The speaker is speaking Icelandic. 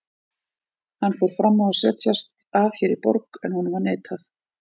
Hann fór fram á að setjast að hér í borg, en honum var neitað.